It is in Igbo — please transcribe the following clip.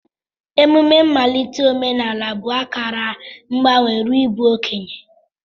Emume mmalite omenala bụ akara mgbanwe ruo n'ịbụ okenye.